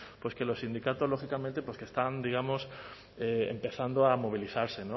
pues que los sindicatos lógicamente pues que están digamos empezando a movilizarse